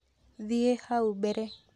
Thiĩ hau mbere